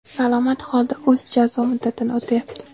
salomat holida o‘z jazo muddatini o‘tayapti.